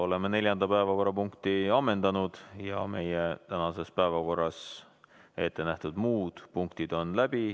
Oleme neljanda päevakorrapunkti ammendanud ja meie tänases päevakorras ette nähtud muudki punktid on läbitud.